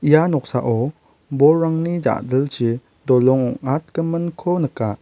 ia noksao bolrangni ja·dilchi dolong ong·atgiminko nika.